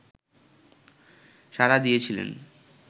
সাড়া দিয়েছিলেন